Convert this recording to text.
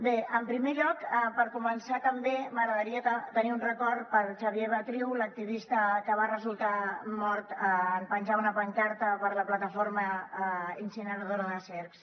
bé en primer lloc per començar també m’agradaria tenir un record per a xavier batriu l’activista que va resultar mort en penjar una pancarta per la planta incineradora de cercs